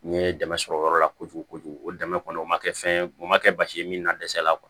N ye dɛmɛ sɔrɔ o yɔrɔ la kojugu kojugu o dɛmɛ kɔni o ma kɛ fɛn ye o ma kɛ basi ye min na dɛsɛɛ la